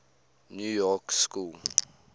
new york school